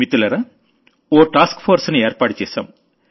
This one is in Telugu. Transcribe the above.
మిత్రులారా ఓ టాస్క్ ఫోర్స్ ని ఏర్పాటు చేశాం